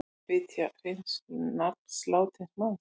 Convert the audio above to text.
Vilja hreins nafn látins manns